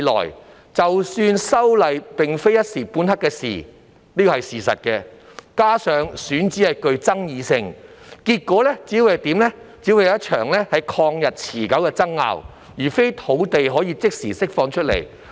事實上，修例已非一時半刻之事，加上選址具爭議性，結果只會是一場曠日持久的爭拗，而非可以即時釋放土地。